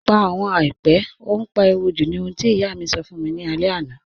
Pà àwọn àìpẹ̀, ó n páriwò jú̀ ní òhun tí iyà mi sọ́ fún mi ni àlẹ̀ àná